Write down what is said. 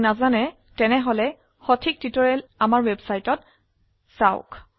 না হলে প্ৰাসঙ্গিক টিউটোৰিয়ালেৰ বাবে আমি ওয়েবসাইট পৰিদৰ্শন কৰক